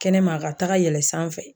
Kɛnɛma a ka taga yɛlɛ sanfɛ